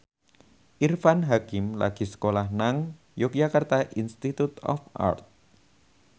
Irfan Hakim lagi sekolah nang Yogyakarta Institute of Art